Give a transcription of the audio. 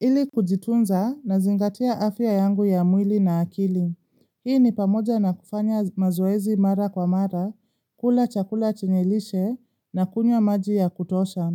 Ili kujitunza na zingatia afya yangu ya mwili na akili. Hii ni pamoja na kufanya mazoezi mara kwa mara, kula chakula chenyelishe na kunywa maji ya kutosha.